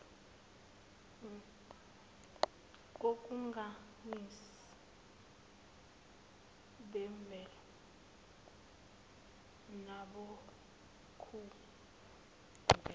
konkamisa bemvelo nabokuvela